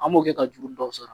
An b'o kɛ ka juru dɔw sara